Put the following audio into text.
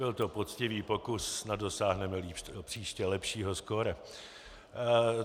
Byl to poctivý pokus, snad dosáhneme příště lepšího skóre.